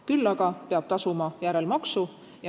Küll aga peab ta tasuma järelmaksu.